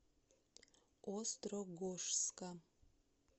острогожска